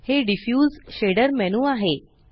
हे diffuse shader menu आहे